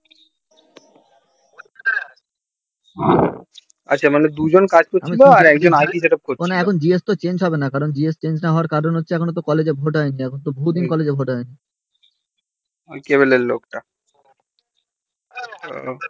হম আচ্ছা মানে দুজন কাজ করছিলো একজন id setup করছিলো এখন তো GS change হবে না কারণ তো GS change হওয়ার কারণ হচ্ছে একখন তো college এ ভোটার হয়নি